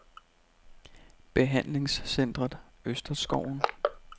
Behandlingscentret Østerskoven